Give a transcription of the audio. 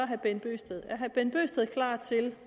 herre bent bøgsted klar til